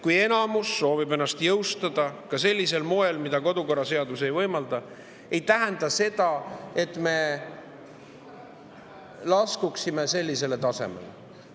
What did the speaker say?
Kui enamus soovib ennast jõustada sellisel moel, mida kodukorraseadus ei võimalda, siis ei tähenda see seda, et me laskuksime sellisele tasemele.